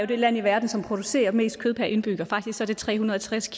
det land i verden som producerer mest kød per indbygger faktisk er det tre hundrede og tres